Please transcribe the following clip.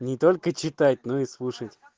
не только читать но и слушать